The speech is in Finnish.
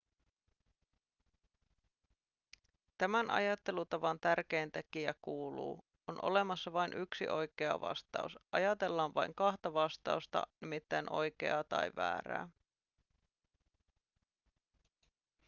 tämän ajattelutavan tärkein tekijä kuuluu on olemassa vain yksi oikea vastaus ajatellaan vain kahta vastausta nimittäin oikeaa tai väärää